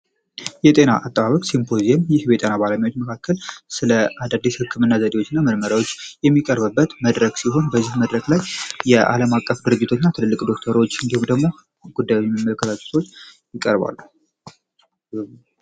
የጤና አጠባበቅ ሲምፖዚም ይህ በጤና ባለሙያዎች መካከል ስለ አዳዲስ ሕክምእና ዘዴዎች እና መርመሪያዎች የሚቀርበበት መድረግ ሲሆን በዝህ መድረክ ላይ የዓለም አቀፍ ድርጅቶች ና ትልልቅ ዶክተሮዎች እንዲሁም ደግሞ ጉዳዊመልከተቶች ይቀርባሉ፡፡